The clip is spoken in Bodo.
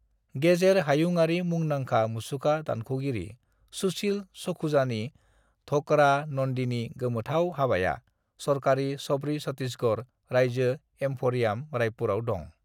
"गेजेर हायुंआरि मुंदांखा मुसुखा दानख'गिरि सुशिल सखुजानि ढोकरा नन्दीनि गोमोथाव हाबाया सरकारनि शबरी छत्तीसगढ़ रायजो एम्फरियाम, रायपुरआव दं।"